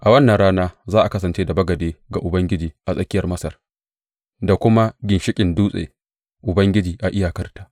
A wannan rana za a kasance da bagade ga Ubangiji a tsakiyar Masar, da kuma ginshiƙin dutse Ubangiji a iyakarta.